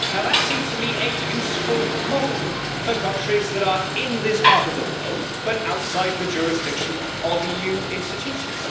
That seems to me a useful model for countries that are in this part of the world but outside the jurisdiction of EU institutions.